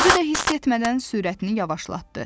Özü də hiss etmədən sürətini yavaşlatdı.